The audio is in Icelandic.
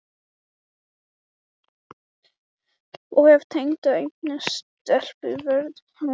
Og ef Tengdi eignast stelpu, verður hún skírð Ásdís